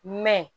Mɛ